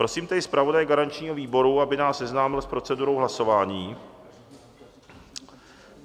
Prosím tedy zpravodaje garančního výboru, aby nás seznámil s procedurou hlasování.